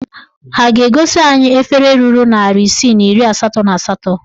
Ha a ga-egosi anyị efere ruru narị isii na iri asatọ na asatọ?